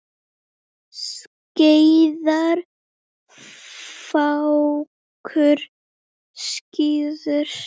Skeiðar fákur fríður.